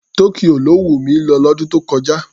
Tokyo ló wùn mi lọ lọ́dún tó kọjá.